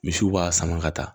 Misiw b'a sama ka taa